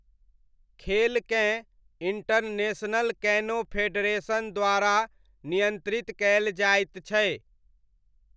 खेलकेँ international canoe federation द्वारा नियन्त्रित कयल जायत छै।